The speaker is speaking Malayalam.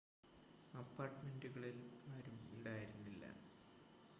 അപ്പാർട്ട്മെൻ്റിനുള്ളിൽ ആരും ഉണ്ടായിരുന്നില്ല